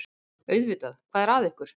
Auðvitað, hvað er að ykkur?